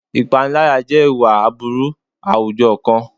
Ìpániláyà jẹ́ ìwà aburú àwùjọ kan.